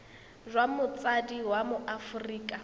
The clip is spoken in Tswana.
jwa motsadi wa mo aforika